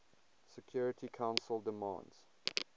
security council demands